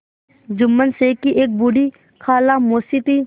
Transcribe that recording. जुम्मन शेख की एक बूढ़ी खाला मौसी थी